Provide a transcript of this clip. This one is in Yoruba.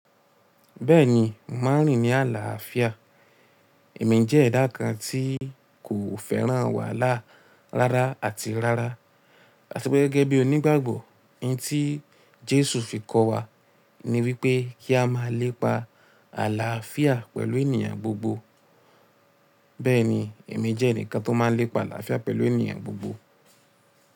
Bẹ́ẹ̀ni, mà rìn ní àlàáfíà. Èmi jẹ́ ẹ̀dá kan tí kò fẹ́ràn wàhálà rárá àti rárá. A ti pé gẹ́gẹ́ bí onígbàgbọ́, ohun tí Jésù fi kọ́ wa ni wípé kí a máa lépa àlàáfíà pẹ̀lú ènìyàn gbogbo. Bẹ́ẹ̀ni, èmi jẹ́ ẹnìkan tó máa lépa àlàáfíà pẹ̀lú ènìyàn gbogbo.